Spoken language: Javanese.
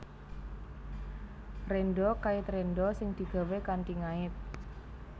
Rénda kait rénda sing digawé kanthi ngait